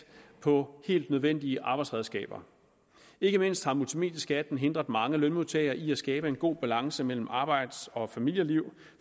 på helt nødvendige arbejdsredskaber ikke mindst har multimedieskatten hindret mange lønmodtagere i at skabe en god balance mellem arbejds og familieliv